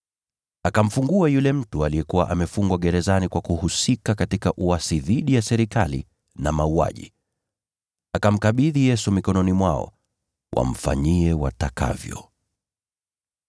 Akamfungua yule mtu aliyekuwa amefungwa gerezani kwa kuhusika katika uasi dhidi ya serikali na mauaji. Akamkabidhi Yesu mikononi mwao, wamfanyie watakavyo.